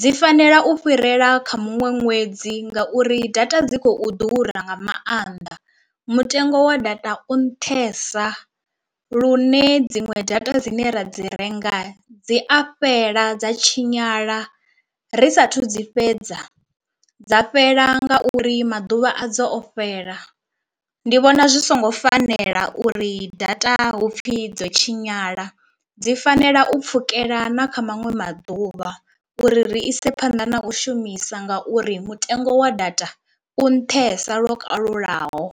dzi fanela u fhirela kha muṅwe ṅwedzi ngauri data dzi khou ḓura nga maanḓa. Mutengo wa data u nṱhesa lune dziṅwe data dzine ra dzi renga dzi a fhela dza tshinyala ri sathu dzi fhedza dza fhela ngauri maḓuvha a dzo o fhela. Ndi vhona zwi songo fanela uri data hupfi dzo tshinyala dzi fanela u pfhukela na kha maṅwe maḓuvha uri ri ise phanḓa na u shumisa ngauri mutengo wa data u nṱhesa lwo kalulaho.